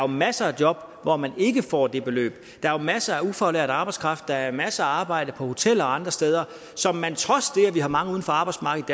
masser af job hvor man ikke får det beløb der er masser af ufaglært arbejdskraft der er masser af arbejde på hoteller og andre steder som man trods det at vi har mange uden for arbejdsmarkedet